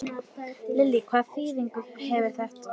Lillý: Hvaða þýðingu hefur þetta?